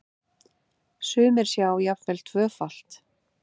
Sumir sjá jafnvel tvöfalt.